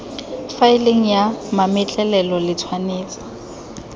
faeleng ya mametlelelo le tshwanetse